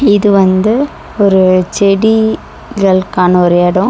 இது வந்து ஒரு செடிகள்கான ஒரு எடோ.